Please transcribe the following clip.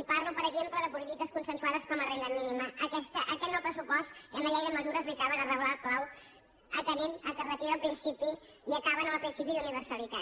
i parlo per exemple de polítiques consensuades com la renda mínima aquest nou pressupost i amb la llei de mesures li acaba de reblar el clau atenent que es retira el principi i acaben amb el principi d’universalitat